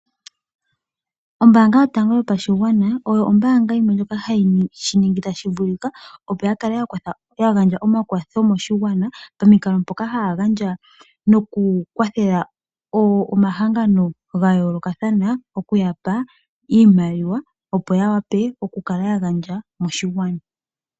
Ombaanga yotango yopashigwana, oyo ombaanga yimwe ndjoka ha yi shiningi ta shi vulika opo ya kale yagandja omakwatho moshigwana pamikalo mpoka ha ya gandja noku kwathela omahangano ga yoolokathana, oku ya pa iimaliwa opo ya wape oku kala ya gandja moshigwana.